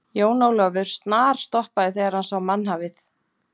Jón Ólafur snarstoppaði þegar hann sá mannhafið.